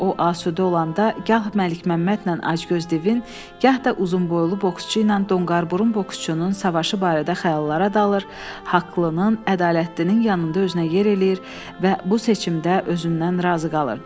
O asudə olanda gah Məlikməmmədlə Acgöz divin, gah da uzunboylu boksçu ilə Donqarburun boksçunun savaşı barədə xəyallara dalır, haqlının ədalətlinin yanında özünə yer eləyir və bu seçimdə özündən razı qalırdı.